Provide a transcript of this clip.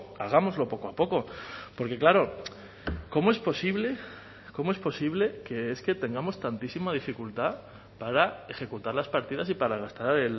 hagámoslo poco a poco porque claro cómo es posible cómo es posible que es que tengamos tantísima dificultad para ejecutar las partidas y para gastar